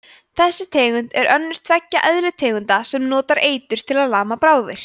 þessi tegund er önnur tveggja eðlutegunda sem notar eitur til að lama bráðir